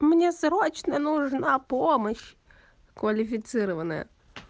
мне срочно нужна помощь квалифицированная